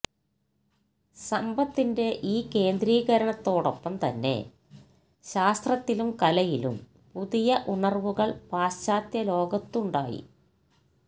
സമ്പത്തിന്റെ ഈ കേന്ദ്രീകരണത്തോടൊപ്പം തന്നെ ശാസ്ത്രത്തിലും കലയിലും പുതിയ ഉണര്വ്വുകള് പാശ്ചാത്യ ലോകത്തുണ്ടായി